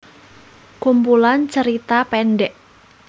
Kumpulan tjerita pendek